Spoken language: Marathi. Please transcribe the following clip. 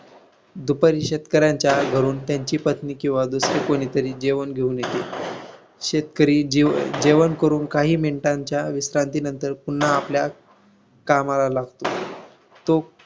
दुपारी शेतकऱ्यांच्या घरून त्यांची पत्नी किंवा दुसरे कुणी तरी जेवण घेऊन येते. शेतकरी जीजेवण करून काही minute च्या विश्रांतीनंतर पुन्हा आपल्या कामाला लागतो. तो